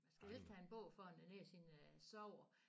Skal helst have en bog foran æ næse inden jeg sover